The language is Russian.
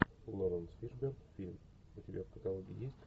лоренс фишберн фильм у тебя в каталоге есть